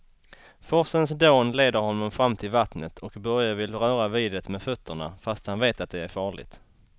Forsens dån leder honom fram till vattnet och Börje vill röra vid det med fötterna, fast han vet att det är farligt.